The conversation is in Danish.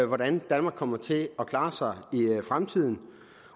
hvordan danmark kommer til at klare sig i fremtiden